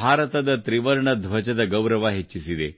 ಭಾರತದ ತ್ರಿವರ್ಣ ಧ್ವಜದ ಗೌರವ ಹೆಚ್ಚಿಸಿದೆ